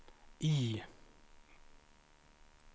I